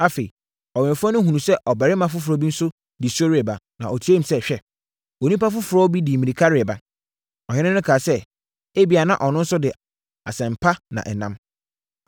Afei ɔwɛmfoɔ no hunuu sɛ ɔbarima foforɔ nso di so reba, na ɔteaam sɛ, “Hwɛ onipa foforɔ bi de mmirika reba!” Ɔhene no kaa sɛ, “Ebia, na ɔno nso de asɛm pa na ɛnam.”